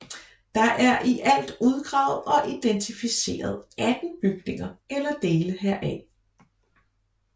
Der er i alt udgravet og identificeret 18 bygninger eller dele heraf